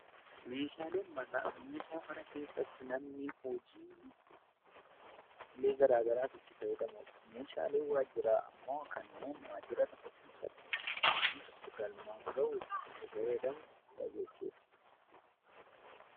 Meeshaaleen manaa meeshaa mana keessatti namni hojiilee gsraa garaaf itti fayyadamuu dha. Meeshaaleen waajjiraa ammoo kanneen waajjira tokko keessa tti hojii tokko galmaan gahuuf itti fayyadamnu dha jechuu dha.